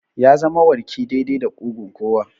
Ya zama warki daidai da ƙugun kowa.